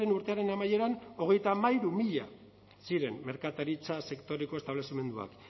urtearen amaieran hogeita hamairu mila ziren merkataritza sektoreko establezimenduak